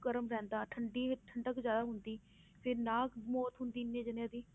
ਗਰਮ ਰਹਿੰਦਾ ਠੰਢੀ ਠੰਢਕ ਜ਼ਿਆਦਾ ਹੁੰਦੀ ਫਿਰ ਨਾ ਮੌਤ ਹੁੰਦੀ ਇੰਨੇ ਜਾਣਿਆਂ ਦੀ